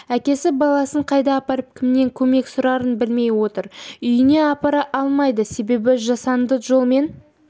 әкесі баласын қайда апарып кімнен көмек сұрарын білмей отыр үйіне апара алмайды себебі жасанды жолмен